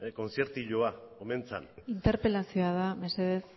kontziertilloa omen zen interpelazioa da mesedez